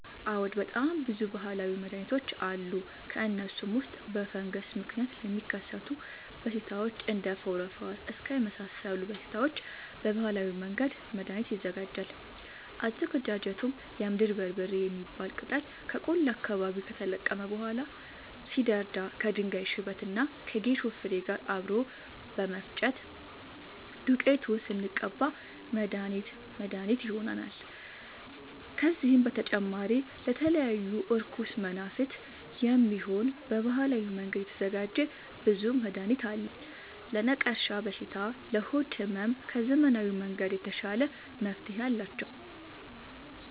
አዎድ በጣም ብዙ በሀላዊ መድሀኒቶች አሉ ከእነሱም ውስጥ በፈንገስ ምክንያት ለሚከሰቱ በሽታዎች እንደ ፎረፎር እከክ የመሳሰሉ በሽታዎች በባህላዊ መንገድ መድሀኒት ይዘጋጃል አዘገጃጀቱም የምድር በርበሬ የሚባል ቅጠል ከቆላ አካባቢ ከተለቀመ በኋላ ሲደርዳ ከድንጋይ ሽበት እና ከጌሾ ፋሬ ጋር አብሮ በመፈጨት ዱቄቱን ስንቀባ መድሀኒት መድሀኒት ይሆነናል። ከዚህም በተጨማሪ ለተለያዩ እርኩስ መናፍት፣ የሚሆን በባህላዊ መንገድ የተዘጋጀ ብዙ መድሀኒት አለ። ለነቀርሻ በሽታ ለሆድ ህመም ከዘመናዊ መንገድ የተሻለ መፍትሄ አላቸው።